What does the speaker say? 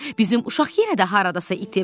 Bizim uşaq yenə də haradasa itib.